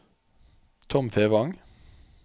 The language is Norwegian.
Tom Fevang